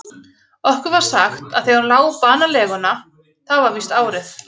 Okkur var sagt, að þegar hún lá banaleguna, það var víst árið